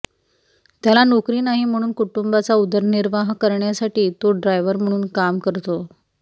त्याला नोकरी नाही म्हणून कुटुंबाचा उदरनिर्वाह करण्यासाठी तो ड्रायव्हर म्हणून काम करतो